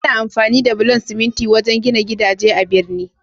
Ana amfani da bulan siminti wajen gina gidaje a'birni.